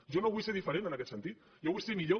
jo no vull ser diferent en aquest sentit jo vull ser millor